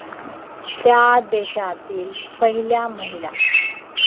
त्या देशातील पहिल्या महिला